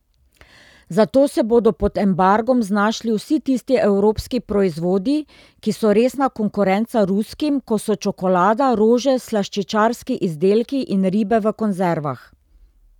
Zato se bodo pod embargom znašli vsi tisti evropski proizvodi, ki so resna konkurenca ruskim, ko so čokolada, rože, slaščičarski izdelki in ribe v konzervah.